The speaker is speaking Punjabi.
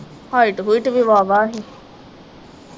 ਹਾਇਟ ਹੂਇਟ ਵੀ ਵਾਵਾ ਹੀ